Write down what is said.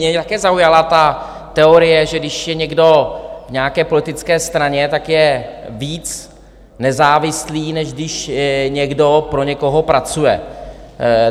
Mě také zaujala ta teorie, že když je někdo v nějaké politické straně, tak je víc nezávislý, než když někdo pro někoho pracuje.